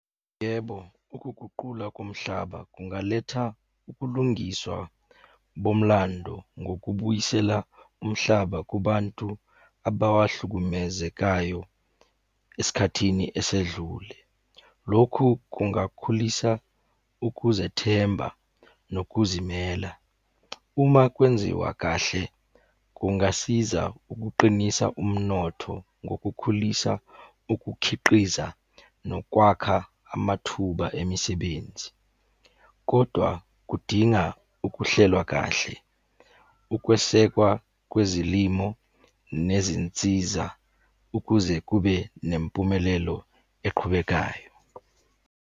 Yebo, ukuguqula komhlaba kungaletha ukulungiswa bomlando ngokubuyisela umhlaba kubantu abawahlukumezekayo esikhathini esedlule. Lokhu kungakhulisa ukuzethemba nokuzimela. Uma kwenziwa kahle, kungasiza ukuqinisa umnotho ngokukhulisa ukukhiqiza nokwakha amathuba emisebenzi, kodwa kudinga ukuhlelwa kahle. Ukwesekwa kwezilimo nezinsiza ukuze kube nempumelelo eqhubekayo.